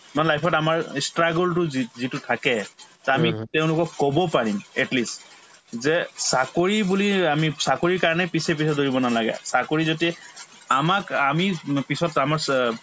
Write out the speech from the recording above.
নহয় life ত আমাৰ ই struggle তো যি‍‍‍‍‍‍‍‍‍‍‍‍‍‍‍‍‍‍‍‍‍‍‍‍‍ যিটো থাকে to আমি তেওঁলোকক কব পাৰিম at least যে চাকৰি বুলি আমি চাকৰিৰ কাৰণে পিছে পিছে দৌৰিব নালাগে চাকৰি যদি আমাক আমি উম পিছত আমাৰ